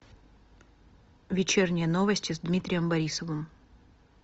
вечерние новости с дмитрием борисовым